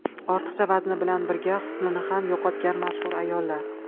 Ortiqcha vazni bilan birga husnini ham yo‘qotgan mashhur ayollar .